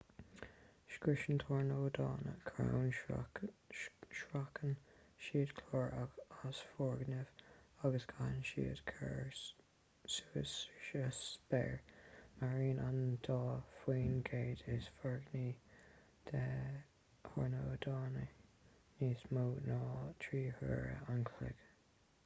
scriosann tornádónna crainn sracann siad cláir as foirgnimh agus caitheann siad cairr suas sa spéir maireann an dá faoin gcéad is foréigní de thornádónna níos mó ná trí huaire an chloig